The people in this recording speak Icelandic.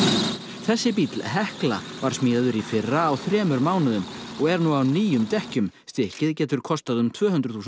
þessi bíll Hekla var smíðaður í fyrra á þremur mánuðum og er nú á nýjum dekkjum stykkið getur kostað um tvö hundruð þúsund